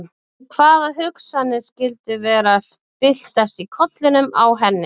En hvaða hugsanir skyldu vera að byltast í kollinum á henni?